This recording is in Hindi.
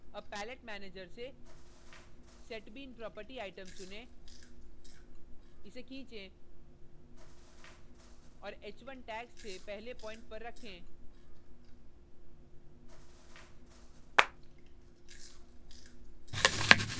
अब palette manager से setbean property item चुनें इसे खीचें और h1 tags से पहले प्वाइंट पर रखें